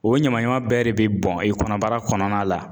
O ɲamaɲama bɛɛ de bɛ bɔn i kɔnɔbara kɔnɔna la